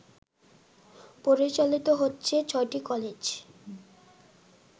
পরিচালিত হচ্ছে ৬টি কলেজ